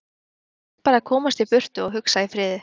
Hann varð bara að komast í burtu og hugsa í friði.